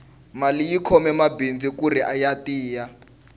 mali yi khome mabindzu kuri ya tiya